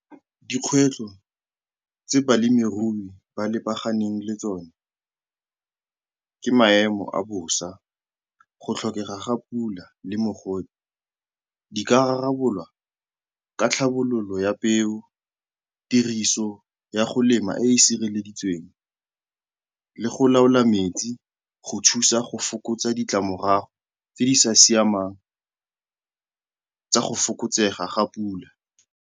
Dikgwetlho tse balemirui ba lebaganeng le tsone ke maemo a bosa. Go tlhokega ga pula le mogote di ka rarabolwa ka tlhabololo ya peo, tiriso ya go lema e e sireleditsweng le go laola metsi go thusa go fokotsa ditlamorago tse di sa siamang tsa go fokotsega ga pula.